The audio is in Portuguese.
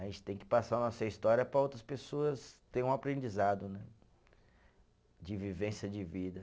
A gente tem que passar nossa história para outras pessoas terem um aprendizado né, de vivência de vida.